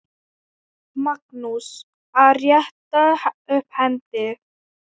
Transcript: Magnús: Að rétta upp hendi.